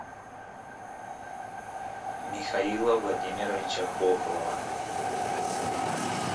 михаила владимировича хохлова